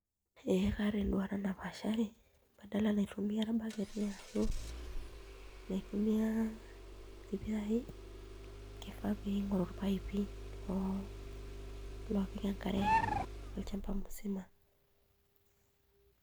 Ee kaata enduata napashari, badala naitumia irbaketi ashu naitumia irpiraai kifaa ning'oru irpaipi loopik enkare olchamba musima.